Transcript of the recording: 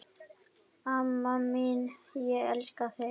Amma mín, ég elska þig.